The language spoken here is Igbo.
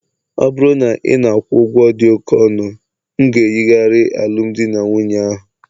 ọ bụrụ na ị na-akwụ ụgwọ dị oke ọnụ, m ga-eyigharị alụmdi na nwunye ahụ